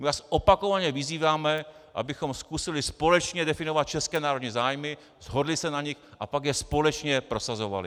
My vás opakovaně vyzýváme, abychom zkusili společně definovat české národní zájmy, shodli se na nich a pak je společně prosazovali.